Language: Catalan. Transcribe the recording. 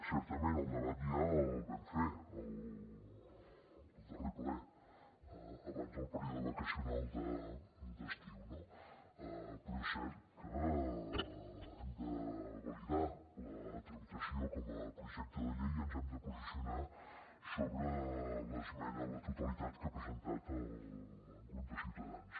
certament el debat ja el vam fer el darrer ple abans del període vacacional d’estiu no però és cert que hem de validar la tramitació com a projecte de llei i ens hem de posicionar sobre l’esmena a la totalitat que ha presentat el grup de ciutadans